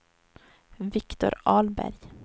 Viktor Ahlberg